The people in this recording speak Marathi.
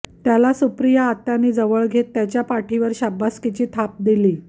त्याला सुप्रिया आत्यांनी जवळ घेत त्याच्या पाठीवर शाबासकीची थाप दिली